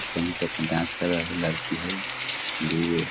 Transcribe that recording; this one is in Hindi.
पहन के अपन डांस कर रहले हेय लड़की हेय दु --